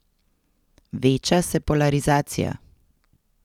Veča se polarizacija.